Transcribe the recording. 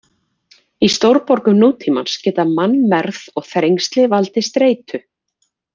Í stórborgum nútímans geta mannmergð og þrengsli valdið streitu.